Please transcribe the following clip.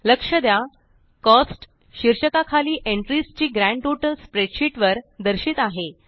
लक्ष द्या कोस्ट्स शीर्षका खालील एंट्रीस ची ग्रँड टोटल स्प्रेडशीट वर दर्शित आहे